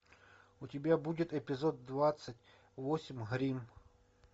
у тебя будет эпизод двадцать восемь грим